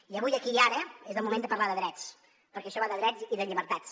i avui aquí i ara és el moment de parlar de drets perquè això va de drets i de llibertats